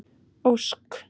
Ósk